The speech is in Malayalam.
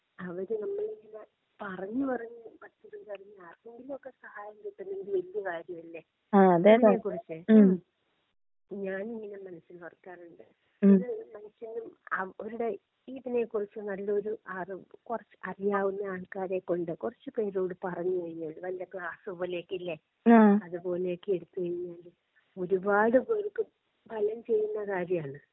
അവരെ നമ്മൾ ഇങ്ങനെ പറഞ്ഞു പറഞ്ഞ് പറ്റുന്നുണ്ടെങ്കി ആർക്കെങ്കിലുമൊക്കെ സഹായം കിട്ടുന്നെങ്കിൽ വലിയ കാര്യമല്ലേ? ഇതിനെക്കുറിച്ച് ഞാൻ ഇങ്ങനെ മനസ്സിൽ ഓർക്കാറുണ്ട്. ഇത് മനുഷ്യനും അവരുടെ ഇതിനെക്കുറിച്ച് നല്ലൊരു അറിവ് കുറച്ച് അറിയാവുന്ന ആൾക്കാരെ കൊണ്ട് കുറച്ചു പേരോട് പറഞ്ഞു കഴിഞ്ഞാ വല്ല ക്ലാസ് പോലെയൊക്കെ ഇല്ലേ? അതുപോലെയൊക്കെ എടുത്തു കഴിഞ്ഞാൽ ഒരുപാട് പേർക്ക് ഫലം ചെയ്യുന്ന കാര്യാണ്.